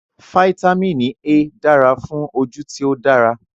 Fáítámínì A dara fun oju ti o dara